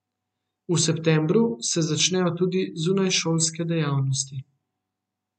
V septembru se začnejo tudi zunajšolske dejavnosti.